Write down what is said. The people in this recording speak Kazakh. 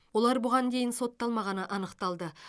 олар бұған дейін сотталмағаны анықталды